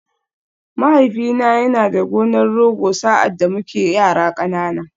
Mahaifina yana da gonar Rogo sa’ad da muke yara ƙanana.